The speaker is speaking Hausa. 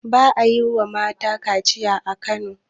ba a yi wa mata kaciya a Kano